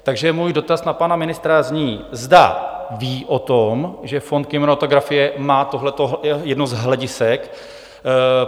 Takže můj dotaz na pana ministra zní, zda ví o tom, že fond kinematografie má tohleto jedno z hledisek.